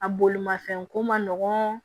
A bolimafɛn ko man nɔgɔn